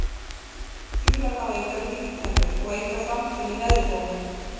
Fílar hafa engar vígtennur og enga framtönn í neðri gómi.